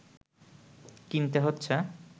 কিনতে হচ্ছে